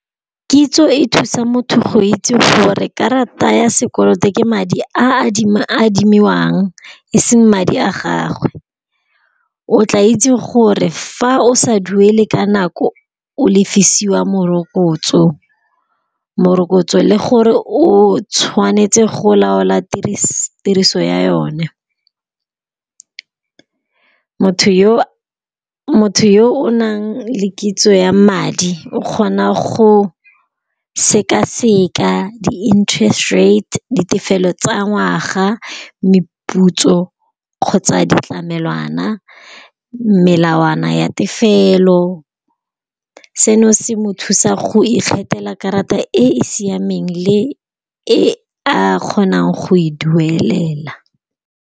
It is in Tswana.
Kitso e thusa motho go itse gore karata ya sekoloto ke madi a adimiwang, eseng madi a gagwe. O tla itse gore fa o sa duele ka nako o lefisiwa morokotso, morokotso, le gore o tshwanetse go laola tiriso ya yone. Motho yo o nang le kitso ya madi o kgona go sekaseka di-interest rate, ditefelelo tsa ngwaga, meputso kgotsa ditlamelwana, melawana ya tefelo. Seno se mo thusa go ikgethela karata e e siameng le e a kgonang go e duelela.